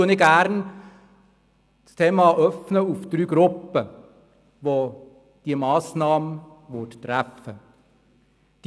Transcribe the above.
Deshalb öffne ich das Thema gerne auf drei Gruppen, welche diese Massnahme treffen würde.